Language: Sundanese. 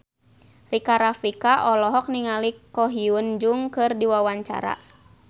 Rika Rafika olohok ningali Ko Hyun Jung keur diwawancara